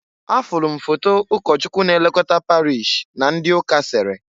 Afulu m foto ụkọchụkwu na-elokota parish na ndị ụka sere.